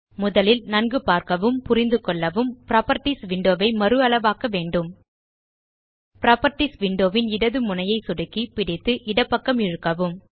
முதலில் நன்கு பார்க்கவும் புரிந்துகொள்ளவும் புராப்பர்ட்டீஸ் விண்டோ ஐ மறுஅளவாக்க வேண்டும் புராப்பர்ட்டீஸ் விண்டோ ன் இடது முனையை சொடுக்கி பிடித்து இடப்பக்கம் இழுக்கவும்